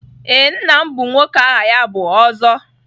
Ee, nna m bụ nwoke aha ya bụ Ozo.